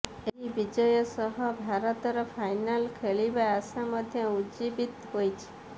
ଏହି ବିଜୟ ସହ ଭାରତର ଫାଇନାଲ୍ ଖେଳିବା ଆଶା ମଧ୍ୟ ଉଜ୍ଜୀବିତ ହୋଇଛି